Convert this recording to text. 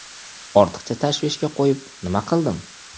Ortiqcha tashvishga qo‘yib nima qildim.